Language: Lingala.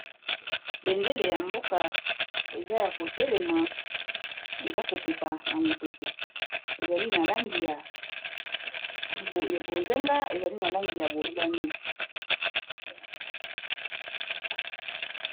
bendele ya mboka eza ya kotelema eza kopepa na mopepe eza na langi ya bozinga na motane